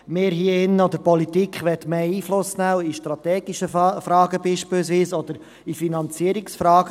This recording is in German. Wir hier drin oder die Politik will mehr Einfluss nehmen, beispielsweise auch in strategischen Fragen oder in Finanzierungsfragen.